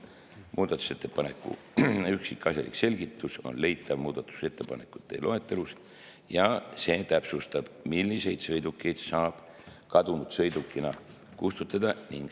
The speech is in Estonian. Muudatusettepaneku üksikasjalik selgitus on leitav muudatusettepanekute loetelust ja see täpsustab, milliseid sõidukeid saab kadunud sõidukina kustutada.